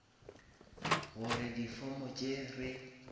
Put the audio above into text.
gore di form tše re